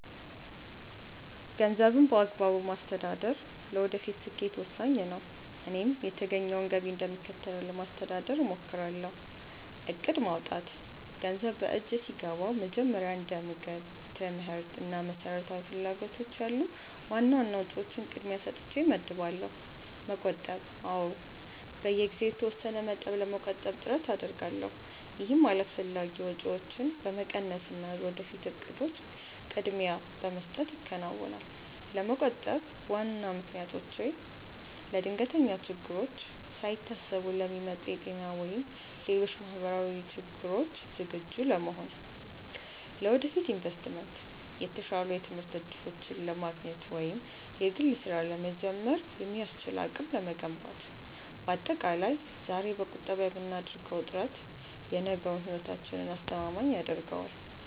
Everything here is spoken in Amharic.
ገንዘብን በአግባቡ ማስተዳደር ለወደፊት ስኬት ወሳኝ ነው፤ እኔም የተገኘውን ገቢ እንደሚከተለው ለማስተዳደር እሞክራለሁ፦ እቅድ ማውጣት፦ ገንዘብ በእጄ ሲገባ መጀመሪያ እንደ ምግብ፣ ትምህርት እና መሰረታዊ ፍላጎቶች ያሉ ዋና ዋና ወጪዎችን ቅድሚያ ሰጥቼ እመድባለሁ። መቆጠብ፦ አዎ፣ በየጊዜው የተወሰነ መጠን ለመቆጠብ ጥረት አደርጋለሁ። ይህም አላስፈላጊ ወጪዎችን በመቀነስና ለወደፊት እቅዶች ቅድሚያ በመስጠት ይከናወናል። ለመቆጠብ ዋና ምክንያቶቼ፦ ለድንገተኛ ችግሮች፦ ሳይታሰቡ ለሚመጡ የጤና ወይም ሌሎች ማህበራዊ ችግሮች ዝግጁ ለመሆን። ለወደፊት ኢንቨስትመንት፦ የተሻሉ የትምህርት እድሎችን ለማግኘት ወይም የግል ስራ ለመጀመር የሚያስችል አቅም ለመገንባት። ባጠቃላይ፣ ዛሬ በቁጠባ የምናደርገው ጥረት የነገውን ህይወታችንን አስተማማኝ ያደርገዋል።